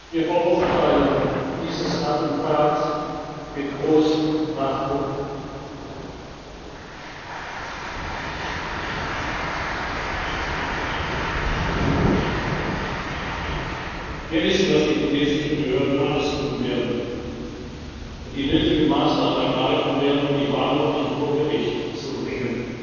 Wir verurteilen dieses Attentat mit großem Nachdruck. Wir wissen, dass die tunesischen Behörden alles tun und die nötigen Maßnahmen ergreifen werden, um die Verantwortlichen vor Gericht zu bringen.